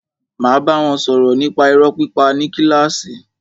Máa bá wọn sọ̀rọ̀ nípa irọ́ pípa ní kílàsì.